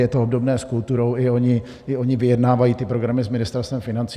Je to obdobné s kulturou, i oni vyjednávají ty programy s Ministerstvem financí.